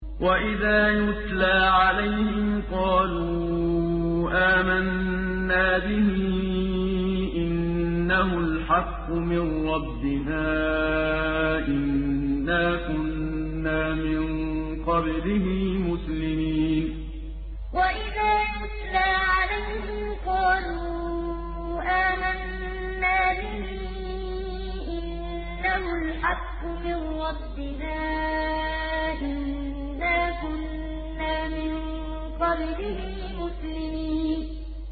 وَإِذَا يُتْلَىٰ عَلَيْهِمْ قَالُوا آمَنَّا بِهِ إِنَّهُ الْحَقُّ مِن رَّبِّنَا إِنَّا كُنَّا مِن قَبْلِهِ مُسْلِمِينَ وَإِذَا يُتْلَىٰ عَلَيْهِمْ قَالُوا آمَنَّا بِهِ إِنَّهُ الْحَقُّ مِن رَّبِّنَا إِنَّا كُنَّا مِن قَبْلِهِ مُسْلِمِينَ